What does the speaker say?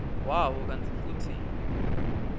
wawo kantsi futsi